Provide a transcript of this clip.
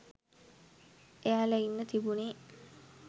එයාලා ඉන්න තිබුනේ